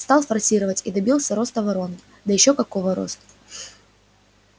стал форсировать и добился роста воронки да ещё какого роста